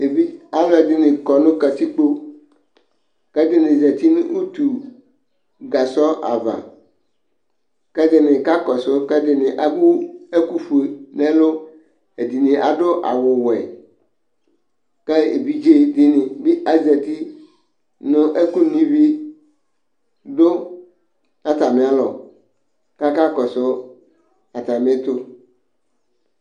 Evidze ,alʋ ɛdɩnɩ kɔ nʋ kǝtilpo, kɛdɩnɩ zati nʋ utu gasɔ ava, kɛdɩnɩ ka kɔsʋ, kɛdɩnɩ ewu ɛkʋ fue nɛlʋƐdɩnɩ adʋ awʋ wɛ, ka evidze dɩnɩ bɩ azati ,nʋ ɛkʋ no ivi dʋ atamɩ alɔ kaka kɔsʋ atamɩɛtʋ